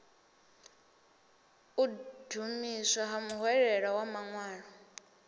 u ṱuwiswa ha muhwelelwa maṅwalo